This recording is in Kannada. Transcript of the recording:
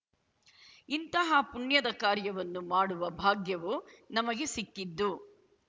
ಇಂತಹ ಪುಣ್ಯದ ಕಾರ್ಯವನ್ನು ಮಾಡುವ ಭಾಗ್ಯವು ನಮಗೆ ಸಿಕ್ಕಿದ್ದು